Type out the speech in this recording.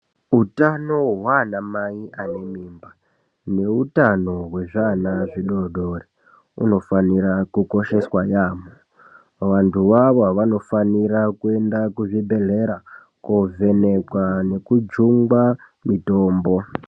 Utano hwaana mai ane mimba neutano hwezviana zvidodori hunofanira kukosheswa yamho vandu avavo fanofanira kuenda kuzvibhedhlera kovhenekwa nekujungwa mitombo.